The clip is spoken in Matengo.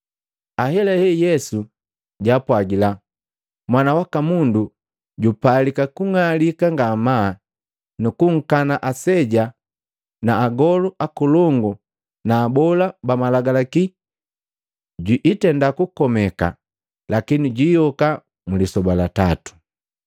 Ahelahe Yesu jaapwagila, “Mwana waka Mundu jupalika kung'alika ngamaa nu kunkana aseja na agolu akolongu na abola ba Malagalaki. Jwiitenda kukomeka lakini jwiyoka mlisoba la tatu.”